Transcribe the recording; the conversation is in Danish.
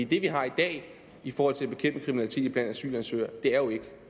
det vi har i dag i forhold til at bekæmpe kriminalitet blandt asylansøgere er jo ikke